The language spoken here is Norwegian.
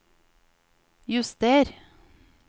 juster